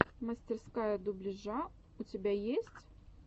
мастерская дубляжа у тебя есть